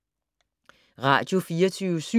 Radio24syv